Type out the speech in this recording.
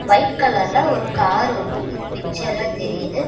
White கலர்ல ஒரு car ஒன்னு இது பிக்சர்ல தெரியிது.